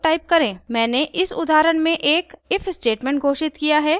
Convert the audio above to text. मैंने इस उदाहरण में एक if statement घोषित किया है